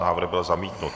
Návrh byl zamítnut.